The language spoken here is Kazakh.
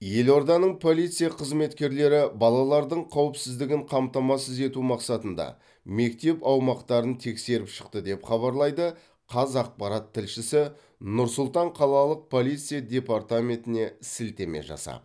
елорданың полиция қызметкерлері балалардың қауіпсіздігін қамтамасыз ету мақсатында мектеп аумақтарын тексеріп шықты деп хабарлайды қазақпарат тілшісі нұр сұлтан қалалық полиция департаментіне сілтеме жасап